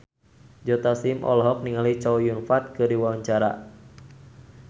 Joe Taslim olohok ningali Chow Yun Fat keur diwawancara